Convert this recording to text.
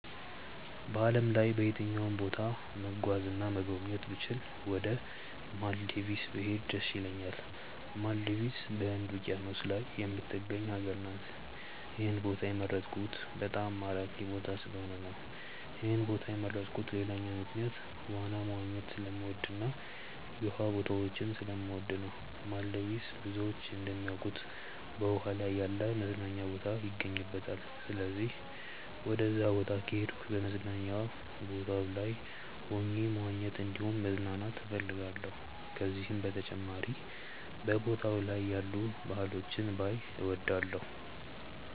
በዓለም ላይ በየትኛውም ቦታ መጓዝ እና መጎብኘት ብችል ወደ ማልዲቭስ ብሄድ ደስ ይለኛል። ማልዲቭስ በህንድ ውቂያኖስ ላይ የምትገኝ ሀገር ናት። ይህን ቦታ የመረጥኩት በጣም ማራኪ ቦታ ስለሆነ ነው። ይህን ቦታ የመረጥኩበት ሌላኛው ምክንያት ዋና መዋኘት ስለምወድ እና የውሃ ቦታዎችን ስለምወድ ነው። ማልዲቭስ ብዙዎች እንደሚያውቁት በውሃ ላይ ያለ መዝናኛ ቦታ ይገኝባታል። ስለዚህም ወደዛ ቦታ ከሄድኩ በመዝናኛ ቦታው ላይ ሆኜ መዋኘት እንዲሁም መዝናናት እፈልጋለሁ። ከዚህም በተጨማሪ በቦታው ላይ ያሉ ባህሎችን ባይ እወዳለሁ።